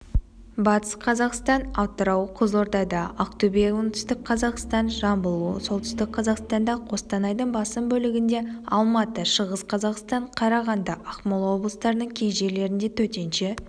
батыс қазақстан атырау қызылордада ақтөбе оңтүстік қазақстан жамбыл солтүстік қзаақстанда қостанайдың басым бөлігінде алматы шығыс қазақстан қарағанды ақмолаоблыстарының кей жерлерінде төтенше